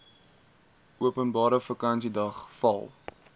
openbare vakansiedag val